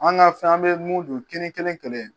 An ga fɛn an be mun don kɛnɛ kɛnɛ kɛlɛ